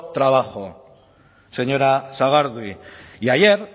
trabajo señora sagardui y ayer